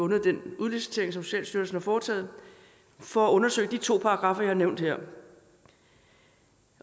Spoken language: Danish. den udlicitering som socialstyrelsen foretog for at undersøge de to paragraffer jeg har nævnt her